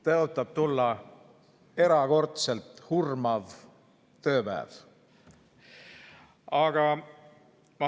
Tõotab tulla erakordselt hurmav tööpäev.